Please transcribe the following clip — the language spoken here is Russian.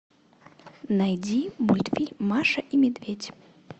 найди мультфильм маша и медведь